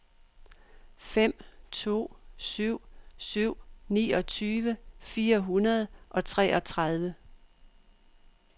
fem to syv syv niogtyve fire hundrede og treogtredive